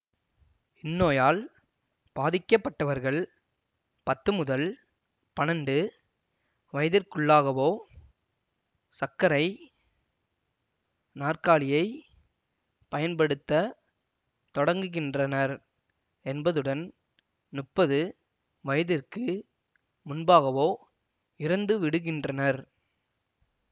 இந்நோயால் பாதிக்கப்பட்டவர்கள் பத்து முதல் பன்னெண்டு வயதிற்குள்ளாகவே சக்கரை நாற்காலியைப் பயன்படுத்த தொடங்குகின்றனர் என்பதுடன் முப்பது வயதிற்கு முன்பாகவோ இறந்துவிடுகின்றனர்